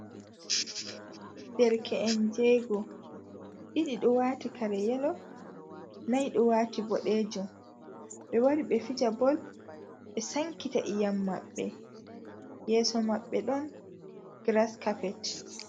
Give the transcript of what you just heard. Derke’en jego! ɗiɗi ɗo wati kare yelo, nai ɗo wati boɗejum. Ɓe wari ɓe fija bol ɓe sankita iyam maɓɓe. Yeeso maɓɓe ɗon gras kapet.